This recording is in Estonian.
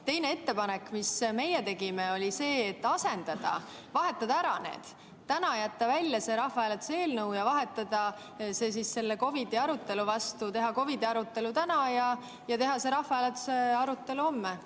Teine ettepanek, mis meie tegime, oli see, et vahetada need ära, täna jätta välja see rahvahääletuse eelnõu ja vahetada see COVID‑i arutelu vastu, teha COVID‑i arutelu täna ja rahvahääletuse arutelu homme.